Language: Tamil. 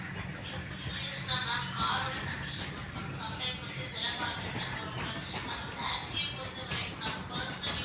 எவ்வளவு years ன்னா ma'am car ஓட condition பொறுத்து ma'am sometime வந்து சில car வந்து நம்ம ரொம்ப அதுவும் taxi ய பொறுத்தவரைக்கும் நம்ம personal use